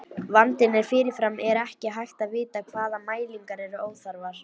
Vandinn er að fyrirfram er ekki hægt að vita hvaða mælingar eru óþarfar.